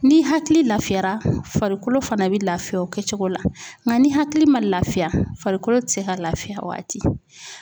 Ni hakili lafiyara farikolo fana bɛ lafiya o kɛ cogo la nka ni hakili ma lafiya farikolo tɛ se ka lafiya o waati